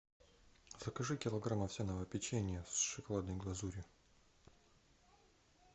закажи килограмм овсяного печенья с шоколадной глазурью